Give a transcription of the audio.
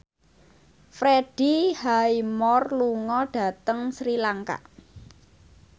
Freddie Highmore lunga dhateng Sri Lanka